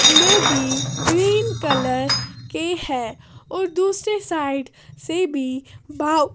ले भी green colour के हैं और दूसरी साइड से भी बा--